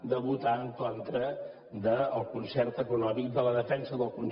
de votar en contra del concert econòmic de la defensa del concert econòmic